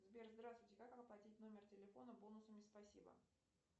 сбер здравствуйте как оплатить номер телефона бонусами спасибо